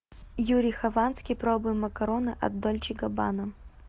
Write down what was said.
юрий хованский пробуем макароны от дольче габбана